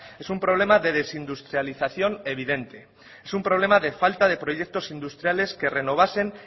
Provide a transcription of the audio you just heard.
es un problema de desindustrialización evidente es un problema de falta de proyectos industriales que renovasen